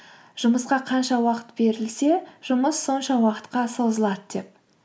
жұмысқа қанша уақыт берілсе жұмыс сонша уақытқа созылады деп